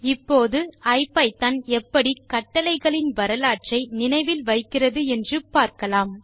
இப்போது ஐபிதான் எப்படி கட்டளைகளின் வரலாற்றை நினைவில் வைக்கிறது என்று பார்க்கலாம்